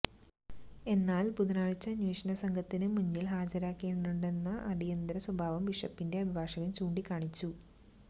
എന്നാല് ബുധനാഴ്ച അന്വേഷണ സംഘത്തിന് മുന്നില് ഹാജരാകേണ്ടതുണ്ടെന്ന അടിയന്തര സ്വഭാവം ബിഷപ്പിന്റെ അഭിഭാഷകന് ചൂണ്ടിക്കാണിച്ചു